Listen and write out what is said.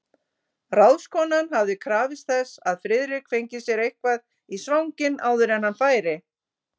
Ráðskonan hafði krafist þess, að Friðrik fengi sér eitthvað í svanginn áður en hann færi.